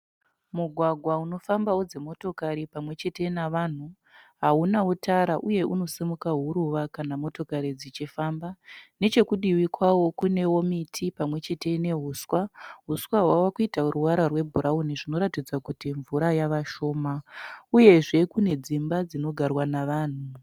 Mugwagwa unofambawo dzimotokari pamwechete navanhu. Haunawo tara uye unosima huruva kana motokari dzichifamba . Nechekudivi kwawo kunewo miti pamwechete nehuswa. Huswa hwava kuita ruvara rwebhurauni zvinoratidza kuti mvura yavashoma. Uyezve kune dzimba dzinogarwa nevanhu.